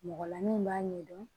Mɔgɔ la min b'a ɲɛdɔn